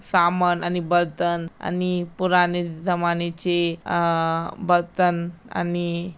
सामान आणि बर्तन आणि पुरानी जमान्याची अ अ बर्तन आणि--